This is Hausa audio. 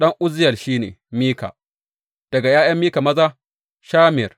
Ɗan Uzziyel shi ne, Mika; daga ’ya’yan Mika maza, Shamir.